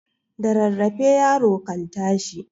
Da rarrafe yaro kan tashi